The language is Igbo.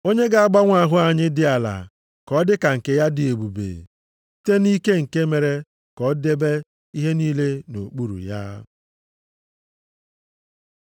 Onye ga-agbanwe ahụ anyị dị ala ka ọ dị ka nke ya dị ebube, site nʼike nke mere ka o debe ihe niile nʼokpuru ya.